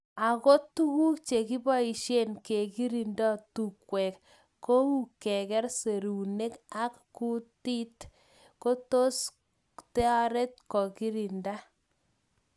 Ako tukuk chekiboishe kekirinda tungwek kou keker serunek ak kutit kotos taret kekirinda.